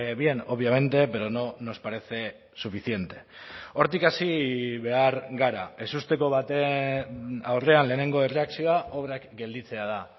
bien obviamente pero no nos parece suficiente hortik hasi behar gara ezusteko baten aurrean lehenengo erreakzioa obrak gelditzea da